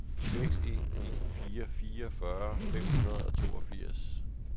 seks en en fire fireogfyrre fem hundrede og toogfirs